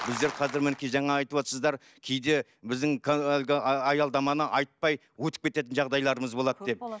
біздер қазір мінекей жаңа айтыватырсыздар кейде біздің әлгі аялдаманы айтпай өтіп кететін жағдайларымыз болады деп